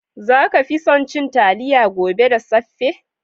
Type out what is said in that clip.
Za ka ci so cin talliya gobe da saffe?